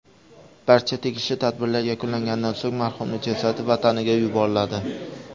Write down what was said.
Barcha tegishli tadbirlar yakunlanganidan so‘ng marhumning jasadi vataniga yuboriladi.